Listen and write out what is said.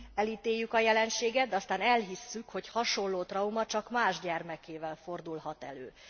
Elítéljük a jelenséget, aztán elhisszük, hogy hasonló trauma csak más gyermekével fordulhat elő.